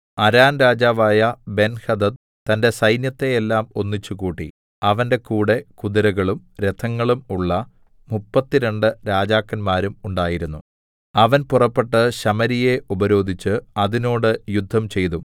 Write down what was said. അരാം രാജാവായ ബെൻഹദദ് തന്റെ സൈന്യത്തെ എല്ലാം ഒന്നിച്ചുകൂട്ടി അവന്റെ കൂടെ കുതിരകളും രഥങ്ങളും ഉള്ള മുപ്പത്തിരണ്ട് രാജാക്കന്മാരും ഉണ്ടായിരുന്നു അവൻ പുറപ്പെട്ട് ശമര്യയെ ഉപരോധിച്ച് അതിനോട് യുദ്ധംചെയ്തു